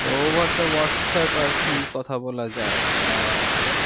তো over WhatsApp আর কি কথা বলা যায় আহ ওখানে